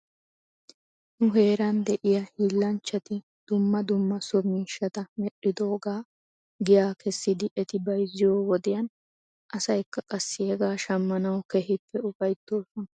Nu heeran de'iyaa hiillanchchati djmma dumma so miishata medhdhidoogaa giyaa kessidi eti bayzziyoo wodiyan asaykka qassi hegaa shammanaw keehippe ufaytoosona.